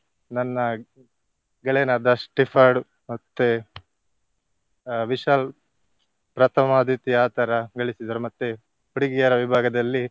ನನ್ನ ಗೆಳೆಯನಾದ ಸ್ಟಿಫರ್ಡ್ ಮತ್ತೆ ಅಹ್ ವಿಶಾಲ್ ಪ್ರಥಮ, ದ್ವಿತೀಯ ಆತರ ಗಳಿಸಿದರು ಮತ್ತೆ ಹುಡುಗಿಯರ ವಿಭಾಗದಲ್ಲಿ.